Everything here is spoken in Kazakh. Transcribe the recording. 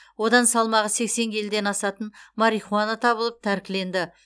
одан салмағы сексен келіден асатын марихуана табылып тәркіленді